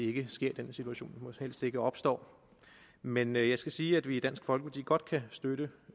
ikke sker den situation må helst ikke opstå men jeg skal sige at vi i dansk folkeparti godt kan støtte